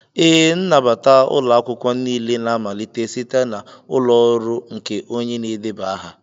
Ee, nnabata ụlọ akwụkwọ niile na-amalite site n'ụlọ ọrụ nke onye na-edeba aha.